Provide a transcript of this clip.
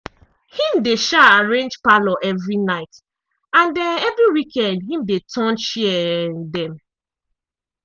him dey um arrange parlour evri night and um evri weekend him de turn chair um dem.